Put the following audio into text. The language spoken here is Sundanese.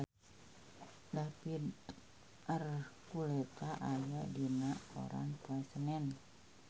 David Archuletta aya dina koran poe Senen